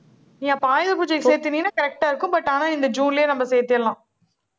நீ அப்போ, ஆயுத பூஜைக்கு சேர்த்துனின்னா, correct ஆ இருக்கும். but ஆனா, இந்த ஜூன்லேயே, நம்ம சேர்த்திடலாம்